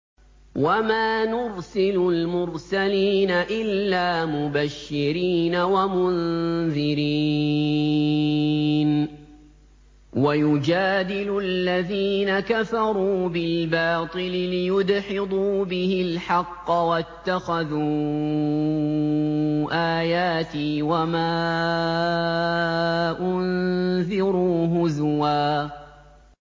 وَمَا نُرْسِلُ الْمُرْسَلِينَ إِلَّا مُبَشِّرِينَ وَمُنذِرِينَ ۚ وَيُجَادِلُ الَّذِينَ كَفَرُوا بِالْبَاطِلِ لِيُدْحِضُوا بِهِ الْحَقَّ ۖ وَاتَّخَذُوا آيَاتِي وَمَا أُنذِرُوا هُزُوًا